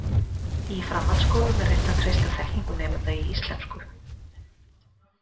Í framhaldsskólum er reynt að treysta þekkingu nemenda í íslensku.